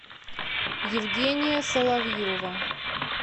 евгения соловьева